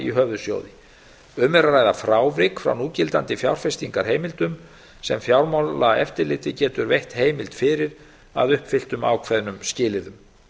í höfuðsjóði um er að ræða frávik frá núgildandi fjárfestingarheimildum sem fjármálaeftirlitið getur veitt heimild fyrir að uppfylltum ákveðnum skilyrðum